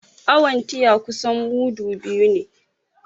Awon tiya kusan mudu biyu ne